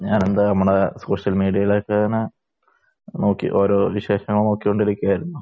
വേറെന്താണ്, നമ്മുടെ സോഷ്യൽ മീഡിയയിൽ ഒക്കെ ഇങ്ങനെ നോക്കി ഓരോ വിശേഷങ്ങൾ നോക്കിക്കൊണ്ടിരിക്കുകയായിരുന്നു.